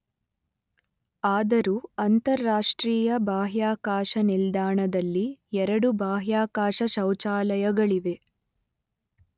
ಆದರೂ ಅಂತರರಾಷ್ಟ್ರೀಯ ಬಾಹ್ಯಾಕಾಶ ನಿಲ್ದಾಣದಲ್ಲಿ ಎರಡು ಬಾಹ್ಯಾಕಾಶ ಶೌಚಾಲಯಗಳಿವೆ.